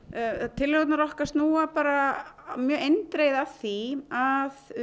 tillögurnar okkar snúa bara mjög eindregið að því að